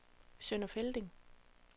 Sønder Felding